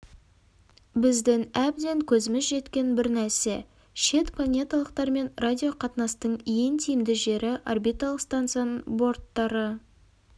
біздің әбден көзіміз жеткен бір нәрсе шет планеталықтармен радиоқатынастың ең тиімді жері орбиталық станцияның борттары